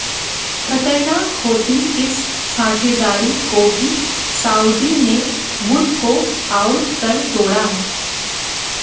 खतरनाक होती इस साझेदारी को भी साउदी ने वुड को आउट कर तोड़ा